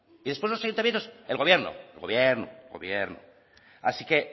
y después los ayuntamientos el gobierno el gobierno el gobierno así que